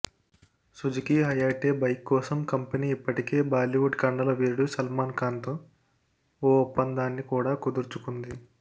Suzuki Hayate bike కోసం company ఇప్పటికే బాలీవుడ్ కండల వీరుడు సల్మాన్ ఖాన్తో ఓ ఒప్పందాన్ని కూడా కుదుర్చుకుంది